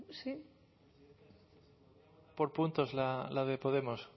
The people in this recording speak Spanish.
por puntos la de podemos